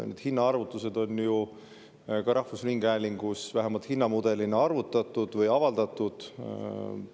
Need hinnaarvutused on ju ka rahvusringhäälingus vähemalt hinnamudelina arvutatud või avaldatud.